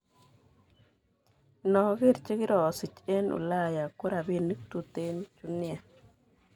Inoker chekirosich eng Ulaya ko rapinik tuten chu nia.